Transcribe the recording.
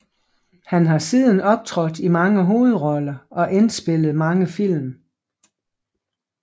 Han har siden optrådt i mange hovedroller og indspillet mange film